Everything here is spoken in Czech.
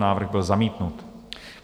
Návrh byl zamítnut.